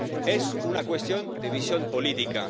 Es una cuestión de visión política.